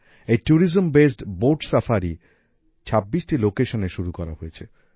এই tourism based boat safari ২৬টি লোকেশনে শুরু করা হয়েছে